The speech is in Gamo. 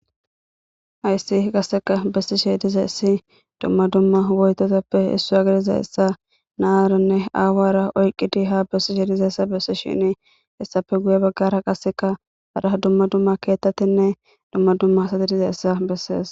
Hayissi qasseka bessishe diza issi dumma dumma hwoytetappe hissu agadiza essa naaranne aawara oyqqidi ha bessishe dizayssa bessi shini hessafe guye baggara qasseka hada dumma dumma keettatinne dumma dumma asati diza essa bessees